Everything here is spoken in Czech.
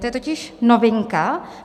To je totiž novinka.